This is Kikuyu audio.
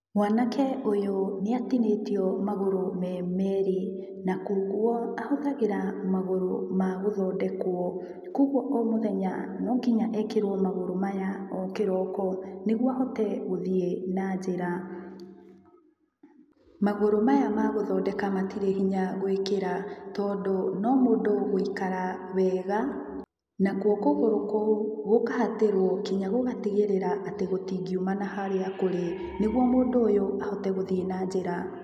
Mwanake ũyũ nĩatinĩtio magũrũ me merĩ na kwa ũguo ahũthagĩra magũrũ ma gũthondekwo, koguo omũthenya nonginya ekĩrwo magũrũ maya o kĩroko nĩguo ahote gũthiĩ na njĩra. Magũrũ maya magũthondeka matirĩ hinya gwĩkĩra tondũ no mũndũ gũikara wega, nakuo kũgũrũ kũu gũkahatĩrwo nginya gũgatigĩrĩra atĩ gũtingiumana harĩa kũrĩ nĩguo mũndũ ũyũ ahote gũthiĩ na njĩra.